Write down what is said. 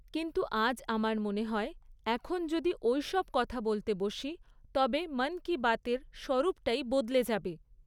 কিন্তু আজ আমার মনে হয়, এখন যদি ঐসব কথা বলতে বসি, তবে মন কি বাত এর স্বরূপটাই বদলে যাবে।